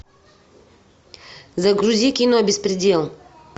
загрузи кино беспредел